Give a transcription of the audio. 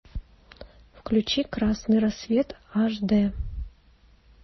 включи красный рассвет аш дэ